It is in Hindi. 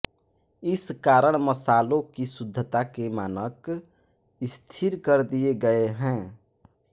इस कारण मसालों की शुद्धता के मानक स्थिर कर दिए गए हैं